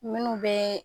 Minnu bɛ